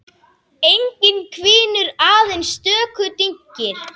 Enginn hvinur, aðeins stöku dynkir.